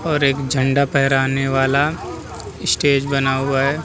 और एक झंडा फहराने वाला स्टेज बना हुआ है |